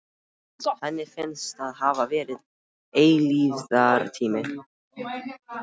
Henni finnst það hafa verið eilífðartími.